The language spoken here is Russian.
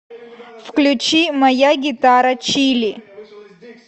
включи моя гитара чили